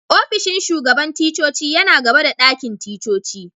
Ofishin shugaban ticcoci yana gaba da dakin ticcoci.